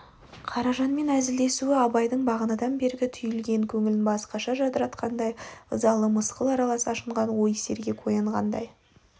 қаражанмен әзілдесуі абайдың бағанадан бергі түйілген көңілін басқаша жадыратқандай ызалы мысқыл аралас ашынған ой сергек оянғаңдай